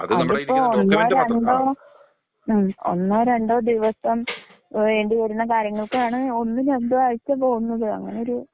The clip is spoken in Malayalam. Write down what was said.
അതിപ്പൊ ഒന്നോ രണ്ടോ ഉം ഒന്നോ രണ്ടോ ദിവസം വേണ്ടിവരുന്ന കാര്യങ്ങൾക്കാണ്, ഒന്നും, രണ്ടും ആഴ്ച പൊവുന്നത് അങ്ങനെ ഒരു.